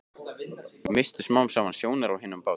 Misstu smám saman sjónar á hinum bát